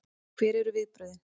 Og hver eru viðbrögðin?